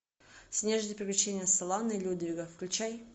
снежные приключения солана и людвига включай